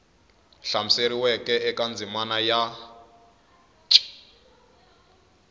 hlamuseriweke eka ndzimana ya c